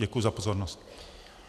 Děkuji za pozornost.